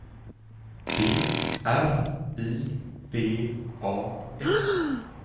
D R I V A S